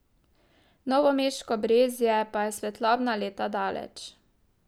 Novomeško Brezje pa je svetlobna leta daleč.